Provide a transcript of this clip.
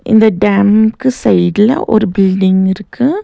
இந்த டேம்க்கு சைட்ல ஒரு பில்டிங் இருக்கு.